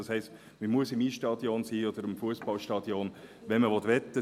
Das heisst, man muss im Eisstadion oder im Fussballstadion sein, wenn man wetten will.